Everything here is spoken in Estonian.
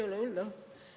Ei ole hullu.